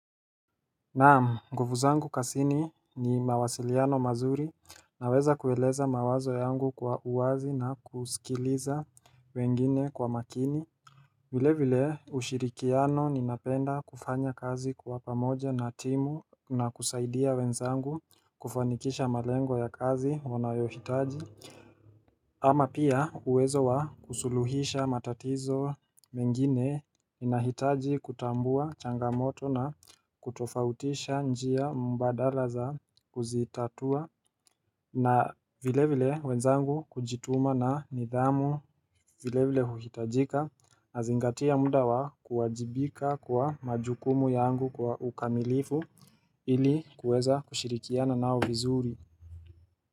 Naam, ngufuzangu kasini ni mawasiliano mazuri naweza kueleza mawazo yangu kwa uwazi na kusikiliza wengine kwa makini. Vile vile ushirikiano ninapenda kufanya kazi kwa pamoja na timu na kusaidia wenzangu kufanikisha malengo ya kazi wanayohitaji. Ama pia uwezo wa kusuluhisha matatizo mengine inahitaji kutambua changamoto na kutofautisha njia mbadala za kuzitatua na vile vile wenzangu kujituma na nidhamu vile vile huhitajika nazingatia muda wa kuwajibika kwa majukumu yangu kwa ukamilifu ili kuweza kushirikiana nao vizuri.